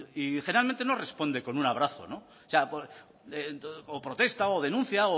y generalmente no responde con un abrazo o sea o protesta o denuncia